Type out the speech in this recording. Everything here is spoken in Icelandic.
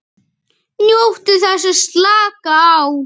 NJÓTTU ÞESS AÐ SLAKA Á